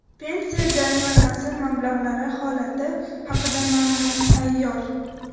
Pensiya jamg‘armasi mablag‘lari holati haqida ma’lumot tayyor!